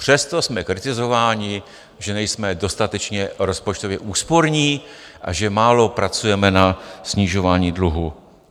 Přesto jsme kritizováni, že nejsme dostatečně rozpočtově úsporní a že málo pracujeme na snižování dluhu.